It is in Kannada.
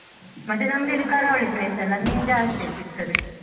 ಮತ್ತೆ ನಮ್ದು ಇಲ್ಲಿ ಕರಾವಳಿ place ಅಲ್ಲ ಮೀನ್ ಜಾಸ್ತಿ ಸಿಗ್ತದೆ.